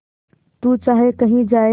तू चाहे कही जाए